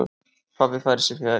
Pabbi færir sig fjær.